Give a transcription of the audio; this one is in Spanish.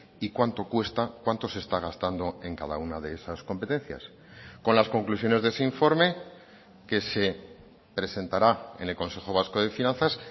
y cuánto cuesta cuánto se está gastando en cada una de esas competencias con las conclusiones de ese informe que se presentará en el consejo vasco de finanzas